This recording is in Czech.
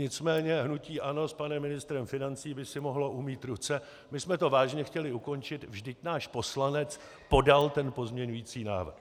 Nicméně hnutí ANO s panem ministrem financí by si mohlo umýt ruce: My jsme to vážně chtěli ukončit, vždyť náš poslanec podal ten pozměňující návrh.